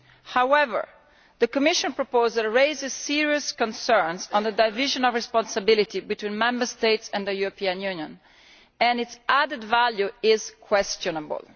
However, the Commission proposal raises serious concerns regarding the division of responsibility between the Member States and the European Union, and its added value is questionable.